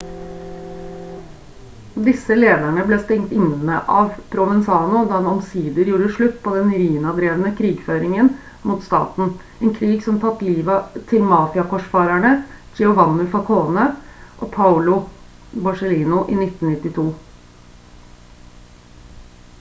disse lederne ble stengt inne av provenzano da han omsider gjorde slutt på den riina-drevne krigføringen mot staten en krig som tatt livet til mafia-korsfarerne giovanni falcone og paolo borsellino i 1992»